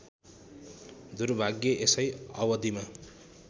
दुर्भाग्य यसै अवधिमा